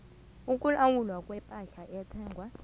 ukulawulwa kwepahla ethengwa